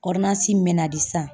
min bɛ na di san